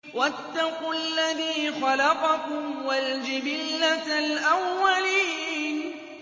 وَاتَّقُوا الَّذِي خَلَقَكُمْ وَالْجِبِلَّةَ الْأَوَّلِينَ